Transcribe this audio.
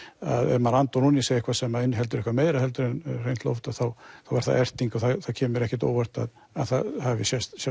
ef maður andar ofan í sig eitthvað sem inniheldur meira heldur en hreint loft þá er það erting og það kemur mér ekkert á óvart að það hafi sést